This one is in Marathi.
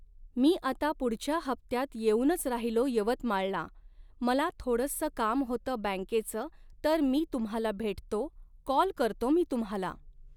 मी आता पुढच्या हफ्त्यात येऊनच राहिलो यवतमाळला, मला थोडंसं काम होतंं बॅंंकेचं तर मी तुम्हाला भेटतो, कॉल करतो मी तुम्हाला